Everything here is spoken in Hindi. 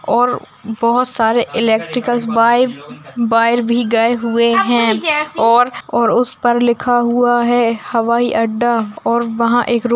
और बोहोत सारे इलेक्ट्रिकल्स बाए बाएर भी गए हुए हैं और और उसपर लिखा हुआ है हवाई अड्डा और वहां एक रोड --